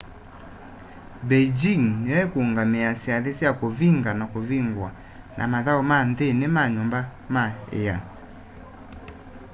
beijing nĩyo ĩkũũngamĩa syathĩ sya kũvĩnga na kũvĩngũa na mathaũ ma nthĩnĩ wa nyũmba ma ĩa